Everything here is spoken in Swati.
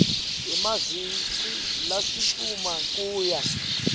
emaviki lasitfupha kuya